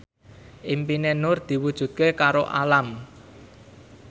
impine Nur diwujudke karo Alam